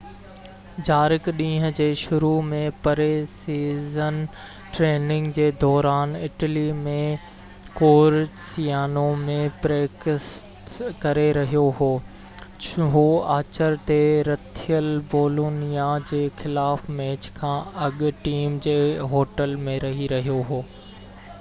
جارق ڏينهن جي شروع ۾ پري-سيزن ٽريننگ جي دوران اٽلي ۾ ڪورسيانو ۾ پريڪٽس ڪري رهيو هو هو آچر تي رٿيل بولونيا جي خلاف ميچ کان اڳ ٽيم جي هوٽل ۾ رهي رهيو هو